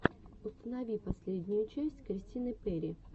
установи последнюю часть кристины перри